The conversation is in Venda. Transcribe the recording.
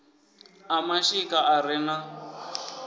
a mashika a re na